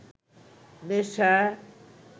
নেশা